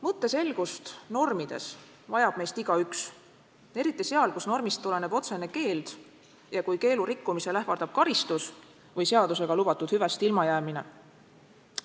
Mõtteselgust normides vajab meist igaüks, eriti seal, kus normist tuleneb otsene keeld ja kui keelu rikkumisel ähvardab karistus või seadusega lubatud hüvest ilmajäämine.